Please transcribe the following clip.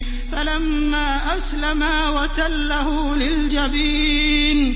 فَلَمَّا أَسْلَمَا وَتَلَّهُ لِلْجَبِينِ